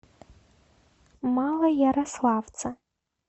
малоярославце